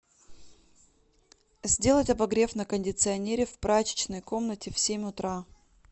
сделать обогрев на кондиционере в прачечной комнате в семь утра